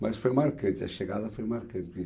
Mas foi marcante, a chegada foi marcante.